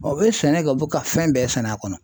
U bɛ sɛnɛ kɛ u bɛ ka fɛn bɛɛ sɛnɛ a kɔnɔ.